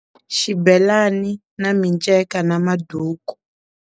Xibelani na miceka na maduku.